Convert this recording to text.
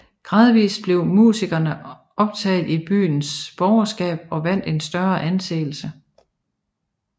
Gradvist blev musikerne optaget i byernes borgerskab og vandt en større anseelse